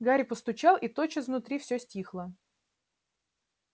гарри постучал и тотчас внутри всё стихло